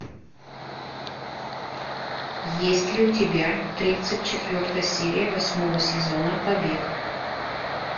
есть ли у тебя тридцать четвертая серия восьмого сезона побег